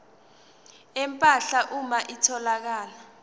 empahla uma kutholakala